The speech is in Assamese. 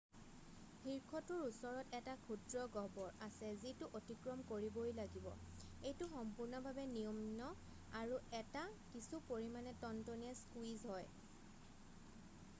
শীৰ্ষটোৰ ওচৰত এটা ক্ষুদ্ৰ গহ্বৰ আছে যিটো অতিক্ৰম কৰিবই লাগিব এইটো সম্পূৰ্ণভাৱে নিম্ন আৰু এটা কিছু পৰিমাণে টনটনীয়া স্কুইজ হয়৷